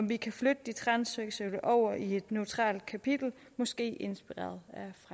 vi kan flytte de transseksuelle over i et neutralt kapitel måske inspireret